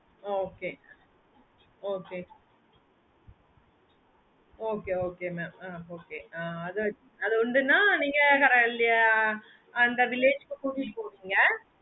okay okay okay okay mam ah okay ah அது உண்டு ன்னா நீங்க அந்த village க்கு கூட்டிட்டு போவீங்க